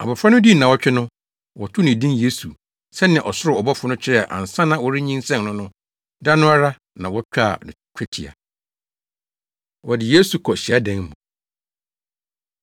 Abofra no dii nnaawɔtwe no, wɔtoo ne din Yesu sɛnea ɔsoro ɔbɔfo no kyerɛɛ ansa na wɔrenyinsɛn no no. Da no ara na wotwaa no twetia. Wɔde Yesu Kɔ Hyiadan Mu